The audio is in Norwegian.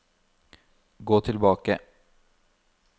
gå tilbake